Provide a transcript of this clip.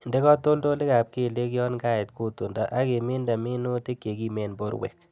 Inde katoltolikab keliek yon kait kutundo ak iminde minutik chekimen borwek.